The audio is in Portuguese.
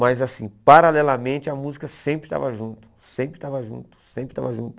Mas assim, paralelamente a música sempre estava junto, sempre estava junto, sempre estava junto.